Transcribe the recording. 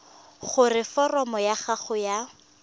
gore foromo ya gago ya